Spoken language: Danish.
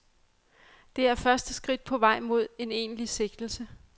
Det er første skridt på vej mod en egentlig sigtelse.